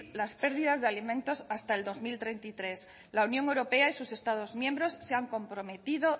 las pérdidas de alimentos hasta el dos mil treinta y tres la unión europea y sus estados miembros se han comprometido